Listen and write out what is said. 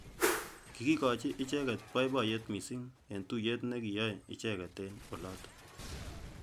kikikochi icheket boiboyet missing eng tuyet nekiyai icheket eng olotok.